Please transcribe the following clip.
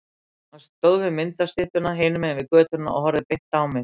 Hann stóð við myndastyttuna hinum megin við götuna og horfði beint á mig.